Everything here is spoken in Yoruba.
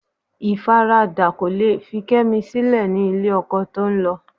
Ìfaradà kò le fi Kẹ́mi sílẹ̀ ní ilé ọkọ tó ń lọ